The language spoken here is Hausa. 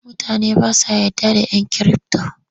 Mutane ba sa yarda da ‘yan kirifto.